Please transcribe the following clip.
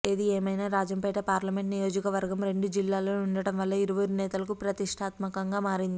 ఏదిఏమైనా Rajampet parliament నియోజకవర్గం రెండు జిల్లాల్లో ఉండటం వల్ల ఇరువురు నేతలకు ప్రతిష్టాత్మకంగా మారింది